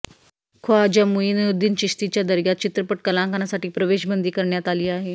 ख्वाजा मुइनुद्दीन चिश्तीच्या दर्ग्यात चित्रपट कलाकारांसाठी प्रवेश बंदी करण्यात आली आहे